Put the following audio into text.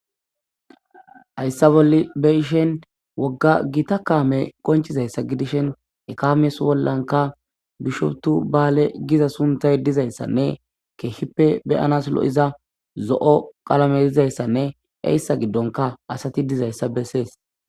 hayssa bolle beyishen wogga gita kaame qonchizayssa gidishen ekamyes bollanka bishoptu baale giza suntay dizayssanne keehippe beyanas lo7iza zo7o qalame dizayssanne eyssa giddonka asati dizayssa bessees